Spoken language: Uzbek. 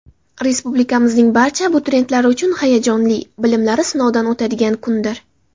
Respublikamizning barcha abituriyentlari uchun hayajonli, bilimlari sinovdan o‘tadigan kundir.